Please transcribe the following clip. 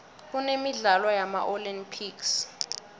kunemidlalo yama olympics